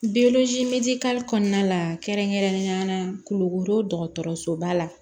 kɔnɔna la kɛrɛnkɛrɛnnenya la kulukoro dɔgɔtɔrɔso ba la